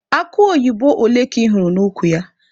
Akụ oyibo ole ka ị hụrụ n'ukwu ya?